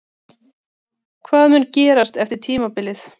Hvað mun gerast eftir tímabilið?